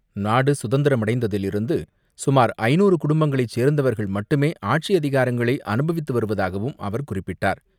பிரதமர் நாடு சுதந்திரமடைந்ததில் இருந்து சுமார் ஐநூறு குடும்பங்களைச் சேர்ந்தவர்கள் மட்டுமே ஆட்சி அதிகாரங்களை அனுபவித்து வருவதாகவும் அவர் குறிப்பிட்டார்.